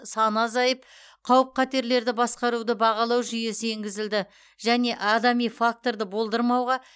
саны азайып қауіп қатерлерді басқаруды бағалау жүйесі енгізілді және адами факторды болдырмауға